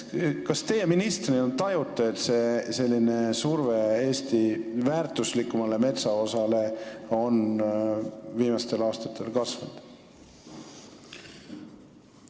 Kas teie ministrina tajute, et selline surve Eesti kõige väärtuslikumale metsaosale on viimastel aastatel kasvanud?